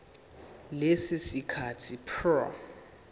leso sikhathi prior